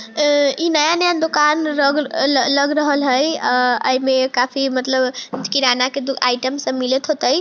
आ इ नया-नया दूकान रग लग रहले हेय और आ एमे काफी मतलब किराना के आइटम सब मिलएत होईते।